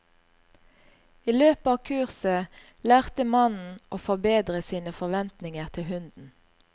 I løpet av kurset lærte mannen å forbedre sine forventninger til hunden.